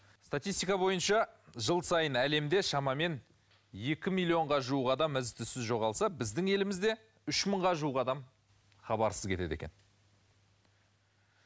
статистика бойынша жыл сайын әлемде шамамен екі миллионға жуық адам із түзсіз жоғалса біздің елімізде үш мыңға жуық адам хабарсыз кетеді екен